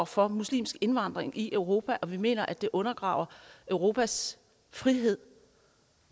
for muslimsk indvandring i europa og at vi mener at det undergraver europas frihed